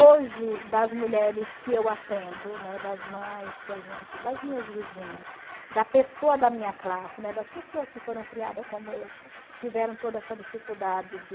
Hoje, das mulheres que eu atendo, né, das mães, que a gente das minhas vizinhas, da pessoa da minha classe, né, das pessoas que foram criadas como eu, que tiveram toda essa dificuldade de...